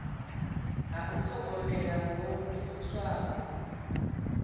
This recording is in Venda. ha u thogomela ho livhiswaho